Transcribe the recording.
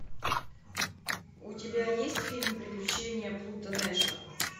у тебя есть фильм приключения плуто нэша